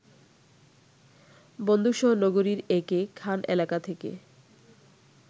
বন্দুকসহ নগরীর একে খান এলাকা থেকে